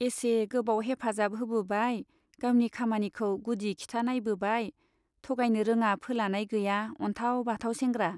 एसे गोबाव हेफाजाब होबोबाय , गावनि खामानिखौ गुदि खिथा नाइबोबाय , थगायनो रोङा फोलानाय गैया अनथाव बाथाव सेंग्रा।